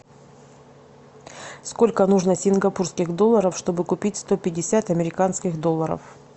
сколько нужно сингапурских долларов чтобы купить сто пятьдесят американских долларов